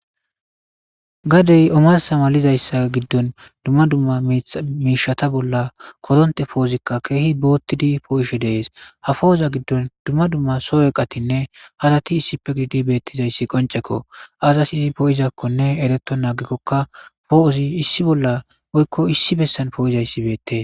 Gadey omarsa malizayssa giddon dumma dumma miishata bolla koronte poozikka keehi boottidi poo7ishe dees ha pooza giddon dumma dumma soweqatinne hasati issippe gidi beettizayssi qoncekko azas izi poo7izakkonne ereto naagikkokka poo7ozi issi bolla oykko issi bessan poo7izayssi beette.